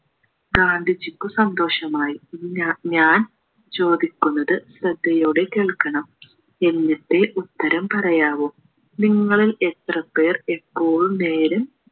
ഗാന്ധിജിക്കു സന്തോഷമായി ഇനി ഞാ ഞാൻ ചോദിക്കുന്നത് ശ്രദ്ധയോടെ കേൾക്കണം എന്നിട്ടേ ഉത്തരം പറയാവു നിങ്ങളിൽ എത്രപേർ എപ്പോളും നേര്